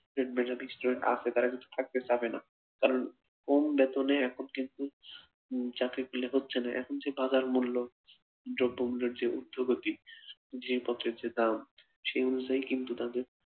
মেধাবী student আছে তারা কিন্তু থাকতে চাইবে না, কারণ কম বেতনে এখন কিন্তু চাকরি পেলে যাচ্ছেনা, এখন সেই বাজার মূল্য দ্রব্যগুলোর যে উর্ধগতি জিনিসপত্রের যে দাম সে অনুযায়ী কিন্তু তাদের